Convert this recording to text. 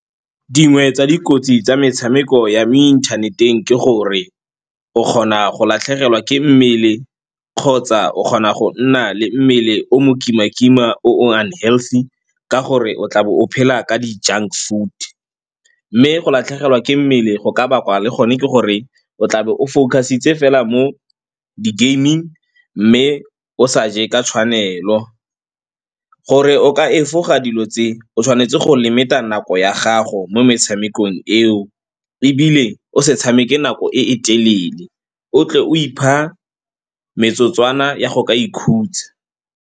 Dingwe tsa dikotsi tsa metshameko ya mo inthaneteng ke gore o kgona go latlhegelwa ke mmele kgotsa o kgona go nna le mmele o mokima-kima o nne unhealthy ka gore o tla be o phela ka di-junk food. Mme go latlhegelwa ke mmele go ka bakwa le gone ke gore o tla be o focusitse fela mo di-gaming mme o sa je ka tshwanelo. Gore o ka efoga dilo tse, o tshwanetse go limit-a nako ya gago mo metshamekong eo ebile o se tshameke nako e e telele, o tle o ipha metsotswana ya go ikhutsa.